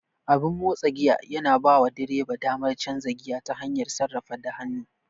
Abin motsa giya yana bawa direba damar canza giya ta hanyar sarrafata da hannu.